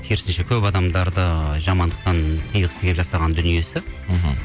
керісінше көп адамдарды жамандықтан тыйғысы келіп жасаған дүниесі мхм